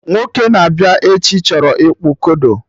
Nwoke na-abịa echi chọrọ ịkpụ kodo